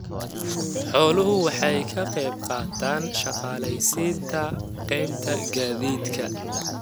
Xooluhu waxay ka qaybqaataan shaqaaleysiinta qaybta gaadiidka.